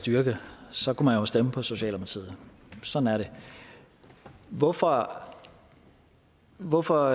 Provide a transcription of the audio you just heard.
styrke så kan man jo stemme på socialdemokratiet sådan er det hvorfor hvorfor